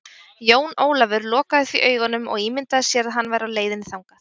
Jón Ólafur lokaði því augunum og ímyndaði sér að hann væri á leiðinni þangað.